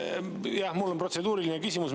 Jah, mul on protseduuriline küsimus.